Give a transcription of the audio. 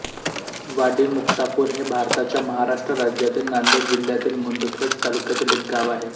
वाडीमुक्तापूर हे भारताच्या महाराष्ट्र राज्यातील नांदेड जिल्ह्यातील मुदखेड तालुक्यातील एक गाव आहे